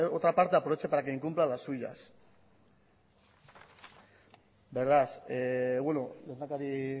otra parte aproveche para que incumpla las suyas beno lehendakari